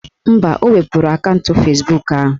Mba, o wepuru akaụntụ Fezbuk ahụ